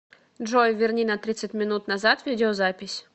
джой верни на тридцать минут назад видеозапись